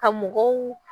Ka mɔgɔw